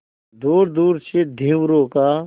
दूरदूर से धीवरों का